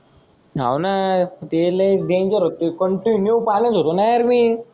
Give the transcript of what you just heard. हो ना ते लय डेंजर होत कंटिन्यू पाण्यात होतो ना यार मी.